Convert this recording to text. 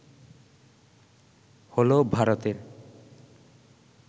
হল ভারতের